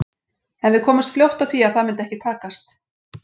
En við komumst fljótt að því að það myndi ekki takast.